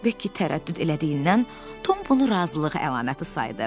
Bekki tərəddüd elədiyindən Tom bunu razılıq əlaməti saydı.